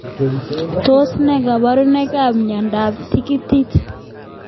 Tos ne kaborunoik ab mnyendo ab tikiti.